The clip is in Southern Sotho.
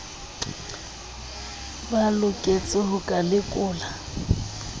ba loketseng ho ka lekolwa